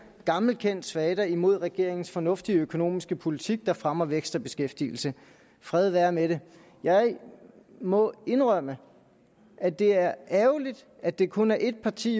gammelkendt svada imod regeringens fornuftige økonomiske politik der fremmer vækst og beskæftigelse fred være med det jeg må indrømme at det er ærgerligt at det kun er et parti